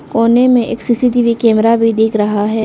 कोने में एक सी_सी_टी_वी कैमरा भी दिख रहा है।